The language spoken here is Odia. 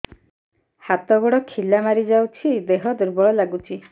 ହାତ ଗୋଡ ଖିଲା ମାରିଯାଉଛି ଦେହ ଦୁର୍ବଳ ଲାଗୁଚି